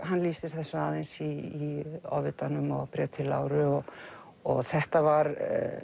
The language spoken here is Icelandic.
hann lýsir þessu aðeins í Ofvitanum og bréf til Láru og og þetta var